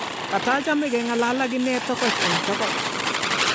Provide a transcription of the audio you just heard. katachame keng'alal ak ine tokoch eng tokoch